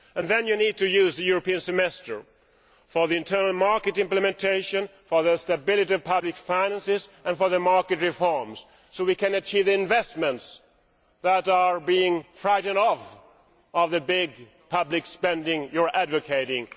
Then you need to use the European Semester for the internal market implementation, for the stability of public finances and for market reforms, so we can achieve the investments that are being frightened off by the big public spending you are advocating.